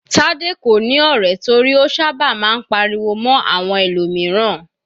Tade kò ní ọ̀rẹ́ torí ó sábà máa ń pariwo mọ́ àwọn ẹlòmíràn.